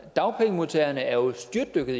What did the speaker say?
af dagpengemodtagere er styrtdykket